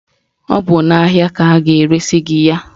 Ọ bụ n'ahịa ka a ga-eresi gị ya.